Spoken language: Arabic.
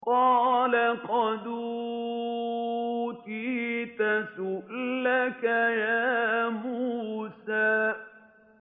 قَالَ قَدْ أُوتِيتَ سُؤْلَكَ يَا مُوسَىٰ